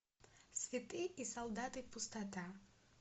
святые и солдаты пустота